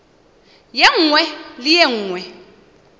ye nngwe le ye nngwe